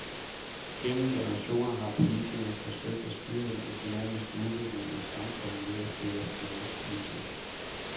Gennem generationer har politikerne forsøgt at styre den økonomiske udvikling i samfundet ved at føre finanspolitik.